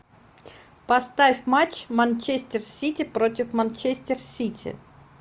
поставь матч манчестер сити против манчестер сити